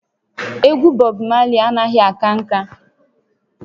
Egwu Bob Marley anaghị aka nka